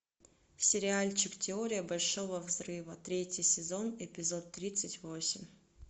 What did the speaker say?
сериальчик теория большого взрыва третий сезон эпизод тридцать восемь